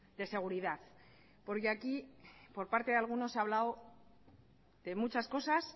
de seguridad porque aquí por parte de algunos se ha hablado de muchas cosas